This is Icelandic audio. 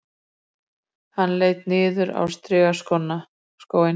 Hann leit niður á strigaskóinn